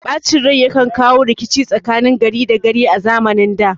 Ɓacin rai yakan kawo rikici tsakanin gari da gari a zamanin da